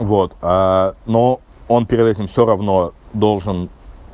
вот аа ну он перед этим все равно должен